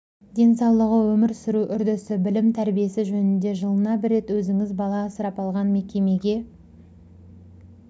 денсаулығы өмір сүру үрдісі білімі тәрбиесі жөнінде жылына бір рет өзіңіз бала асырап алған мекемеге